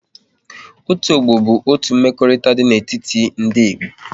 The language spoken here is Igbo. Otu ọgbọ bụ otu mmekọrịta dị n'etiti ndị Igbo